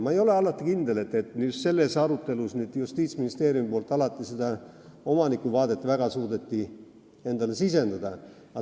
Ma ei ole kindel, et Justiitsministeerium suutis selle arutelu käigus väga palju omanikuvaadet endale sisendada.